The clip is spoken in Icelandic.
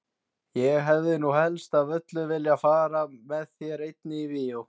Ég hefði nú helst af öllu viljað fara með þér einni í bíó!